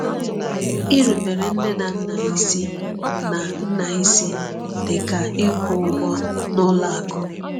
Irubere nne na nna isi na nna isi dị ka ịkwụ ụgwọ n’ụlọ akụ.